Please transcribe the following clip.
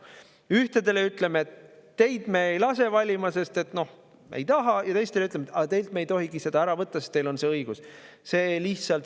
Ühtedele ütleme, et teid me ei lase valima, sest me ei taha, ja teistele ütleme, et teilt me ei tohigi seda ära võtta, sest teil on see õigus.